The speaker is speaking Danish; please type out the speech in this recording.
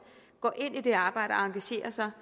går ind i det arbejde og engagerer sig